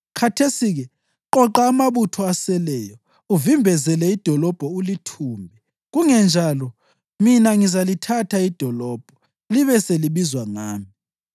Khathesi-ke qoqa amabutho aseleyo uvimbezele idolobho ulithumbe. Kungenjalo mina ngizalithatha idolobho, libe selibizwa ngami.”